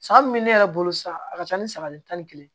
San min bɛ ne yɛrɛ bolo sa a ka ca ni san tan ni kelen